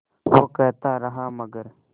वो कहता रहा मगर